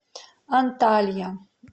анталья